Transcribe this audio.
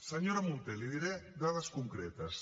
senyora munté li diré dades concretes